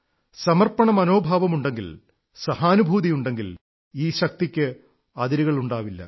സമർപ്പണമനോഭാവമുണ്ടെങ്കിൽ സഹാനുഭൂതിയുണ്ടെങ്കിൽ ഈ ശക്തിക്ക് അതിരുകളുണ്ടാവില്ല